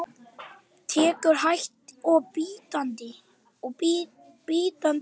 Tekur hægt og bítandi á.